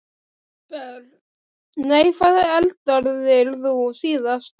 Börn: Nei Hvað eldaðir þú síðast?